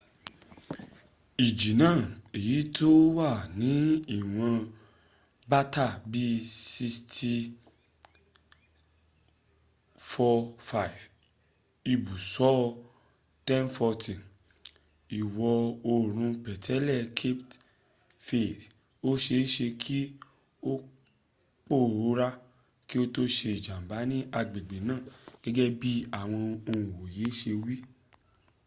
iji naa eyi ti o wa ni iwon bata bi 645 ibuso 1040 iwo oorun petele cape verde oseese ki o poora ki o to se ijamba ni agbegbe naa gege bi awon onwoye se wi